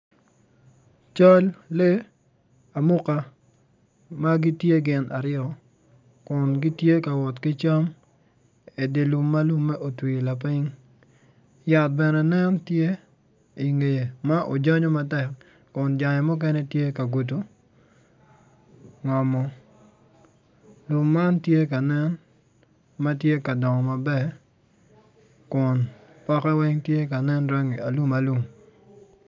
Cal lee amuka ma gitye gin aryo kun gitye ka wot ki cam i dye lum ma lumme otwi lapiny yat bene nen tye i ngye ma ojanyu matek kun jange muken etye ka gudo ngom lum man tye kanen ma tye ka dongo maber kun poke weng tye ka nen rangi alumalum.